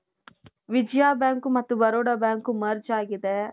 Vijaya Bank ಮತ್ತೆ Baroda Bank merge ಆಗಿದೆ.